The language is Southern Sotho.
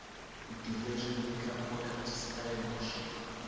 ho division liquor products stellenbosch